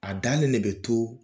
A dalen de bɛ to